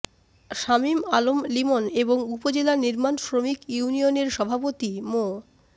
শামীম আলম লিমন এবং উপজেলা নির্মাণ শ্রমিক ইউনিয়নের সভাপতি মো